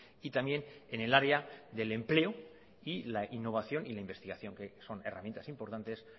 y también en el área del empleo y la innovación y en la investigación que son herramientas importantes